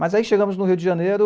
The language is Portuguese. Mas aí chegamos no Rio de Janeiro.